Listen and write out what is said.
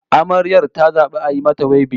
Amaryar ta zabi a yi mata wibin